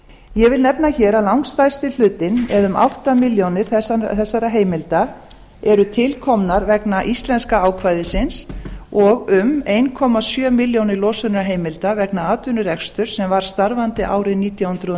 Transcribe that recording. ég vil nefna hér að langstærsti hlutinn eða um átta milljónir þessara heimilda eru til komnar vegna íslenska ákvæðisins og um einn komma sjö milljónir losunarheimilda vegna atvinnurekstri sem var starfandi árið nítján hundruð